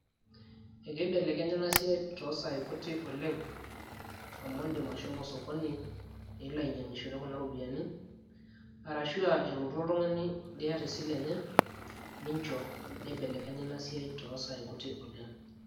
ekeibelekenya ena siai toosai kutik oleng amu indim ashomo sokoni nilo ainyiang'ishore kuna ropiyiani arashu elotu oltung'ani liata esile enye neineleknya ina siai toosai kutik oleng.